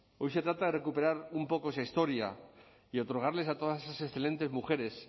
hoy se trata de recuperar un poco esa historia y otorgarles a todas esas excelentes mujeres